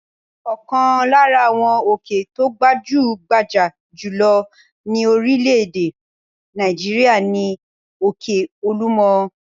Ọ̀kan lára àwọn òkè tó gbajú-gbajà jù lọ ní orílẹ̀-èdè Nàìjíríà ni òkè Olúmọ.